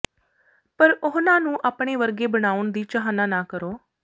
ਪਰ ਉਹਨਾਂ ਨੂੰ ਆਪਣੇ ਵਰਗੇ ਬਣਾਉਣ ਦੀ ਚਾਹਨਾ ਨਾ ਕਰੋ